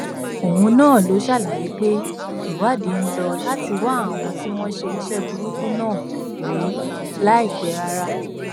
òun náà ló ṣàlàyé pé ìwádìí ń lò láti wá àwọn tí wọn ṣe iṣẹ burúkú náà rí láìpẹ rárá